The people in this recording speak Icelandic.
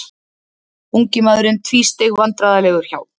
Ungi maðurinn tvísteig vandræðalegur hjá.